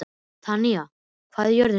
Tanya, hvað er jörðin stór?